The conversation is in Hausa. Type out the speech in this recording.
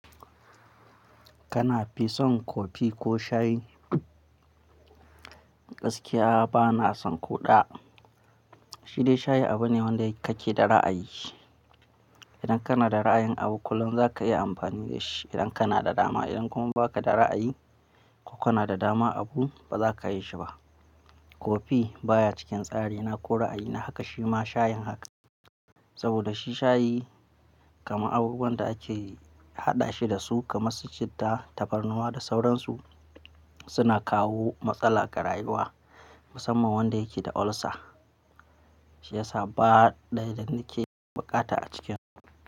Kana fi son kofi ko shayi? Gaskiya bana son ko ɗaya. Shi dai shayi abu ne wanda kake da ra'ayi. Idan kana da ra'ayin abu, kullum za ka iya amfani da shi idan kana da dama. Idan kuma ba ka da ra'ayi ko kana da dama abu, ba za ka yi shi ba. Kofi baya cikin tsari na ko ra'ayi na haka, shi ma shayin haka. Saboda shi shayi kamar abubuwan da ake haɗa shi da su kamar su citta, tabarnuwa da sauransu suna kawo matsala ga rayuwa, musamman wanda yake da ulcer. Shi yasa ba ɗaya danake bukata a cikin.